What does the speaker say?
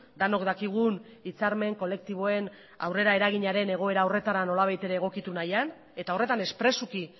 denok dakigun hitzarmen kolektiboen aurrera eraginaren egoera horretara nolabait ere egokitu nahian eta horretan espresuki